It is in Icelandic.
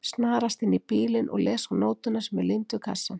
Snarast inn í bílinn og les á nótuna sem er límd við kassann